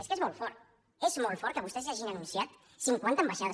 és que és molt fort és molt fort que vostès hagin anunciat cinquanta ambaixades